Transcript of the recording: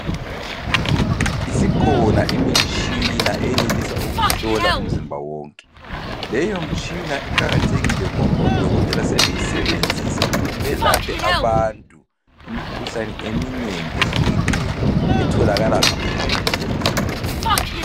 Isikhona imitshina eyenelisa ukuhlola umzimba wonke. Leyomitshina iqakathekile ngoba odokotela sebeyisebenzisa ukuthi belaphe abantu imikhuhlane eminengi ehlukeneyo. Etholakala ngaphakathi komizimba.